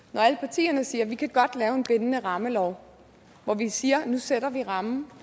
når alle partierne siger vi kan godt lave en bindende rammelov hvor vi siger at nu sætter vi rammen